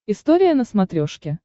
история на смотрешке